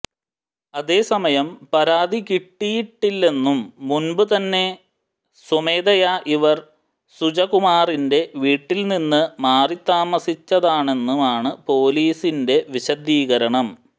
അതേസമയം പരാതി കിട്ടിയിട്ടില്ലെന്നും മുമ്പ് തന്നെ സ്വമേധയാ ഇവർ സുജകുമാറിന്റെ വീട്ടിൽ നിന്ന് മാറി താമസിച്ചതാണെന്നുമാണ് പൊലീസിന്റെ വിശദീകരണം